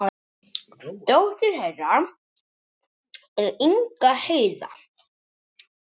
Dóttir þeirra er Inga Heiða.